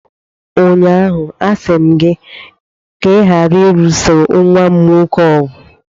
Ụnyaahụ, a sị m gị ka ị ghara ịlụsa nwa m nwoke ọgụ!